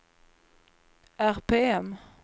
RPM